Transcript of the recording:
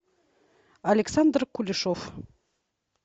александр кулешов